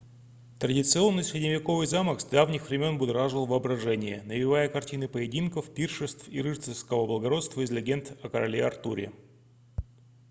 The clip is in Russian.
традиционный средневековый замок с давних времен будоражил воображение навевая картины поединков пиршеств и рыцарского благородства из легенд о короле артуре